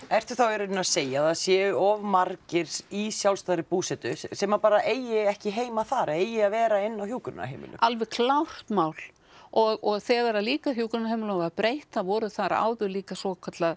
ertu þá í rauninni að segja að það séu of margir í sjálfstæðri búsetu sem bara eigi ekki heima þar eigi að vera inni á hjúkrunarheimilum alveg klárt mál og þegar að líka hjúkrunarheimilunum var breytt þá voru þar áður líka svokallað